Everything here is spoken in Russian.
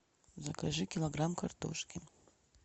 закажи килограмм картошки